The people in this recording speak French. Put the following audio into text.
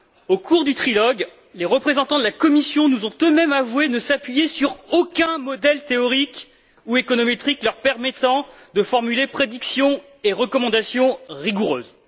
Au cours du trilogue, les représentants de la Commission nous ont eux mêmes avoué ne s'appuyer sur aucun modèle théorique ou économétrique leur permettant de formuler prédictions et recommandations rigoureuses.